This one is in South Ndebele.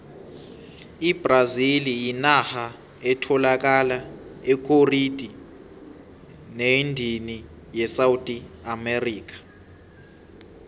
ibrazili yinarha etholaka ekhoriti neendini yesouth america